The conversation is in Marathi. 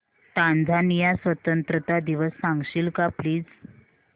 टांझानिया स्वतंत्रता दिवस सांगशील का प्लीज